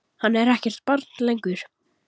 Hann er ekkert barn lengur.